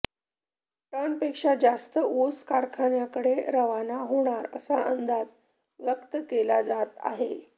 टनपेक्षा जास्त ऊस कारखान्याकडे रवाना होणार असा अंदाज व्यक्त केला जात आहे